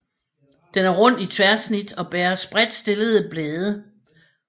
Den er rund i tværsnit og bærer spredtstillede blade